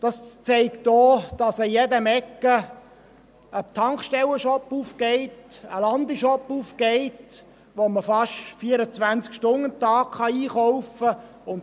Das zeigt sich auch daran, dass an jeder Ecke ein Tankstellen-Shop, ein Landi-Shop aufgeht, in denen man fast 24 Stunden am Tag einkaufen kann.